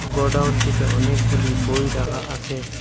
গোডাউনটিতে অনেকগুলি বই রাখা আসে।